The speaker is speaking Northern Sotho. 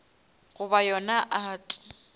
goba yona art